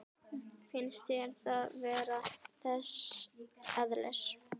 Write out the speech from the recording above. Finnst þér það vera þess eðlis?